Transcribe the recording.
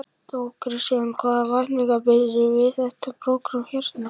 Þóra Kristín: En hvaða væntingar bindurðu við þetta prógramm hérna?